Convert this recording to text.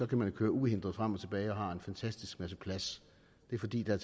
kan køre uhindret frem og tilbage og har en fantastisk masse plads det er fordi der